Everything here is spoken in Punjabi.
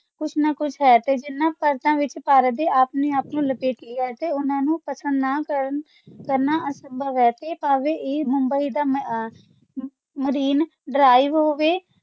ਕੁਛ ਨਾ ਕੁਛ ਹੈ ਤੇ ਜਿਹਨਾਂ ਪਰਤਾਂ ਵਿਚ ਭਾਰਤ ਨੇ ਆਪਣੇ ਆਪ ਨੂੰ ਲਪੇਟ ਲਿਆ ਹੈ ਤੇ ਓਹਨਾ ਨੂੰ ਪਸੰਦ ਨਾ ਰਨਾ ਸੰਭਵ ਹੈ ਤੇ ਇਹ ਭਾਵੇ Mumbai ਦਾ Marine drive ਹੋਵੇ